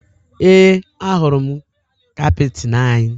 Ee, ahụrụ m kaptịn anyị